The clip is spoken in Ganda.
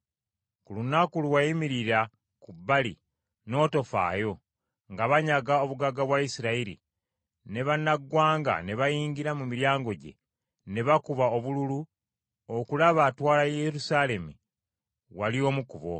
Ku lunaku lwe wayimirira ku bbali n’otofaayo, nga banyaga obugagga bwa Isirayiri, ne bannaggwanga ne bayingira mu miryango gye, ne bakuba obululu okulaba atwala Yerusaalemi, wali omu ku bo.